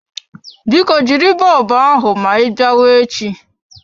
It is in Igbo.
Biko jiri bọlbụ aha ma ị biawa echi.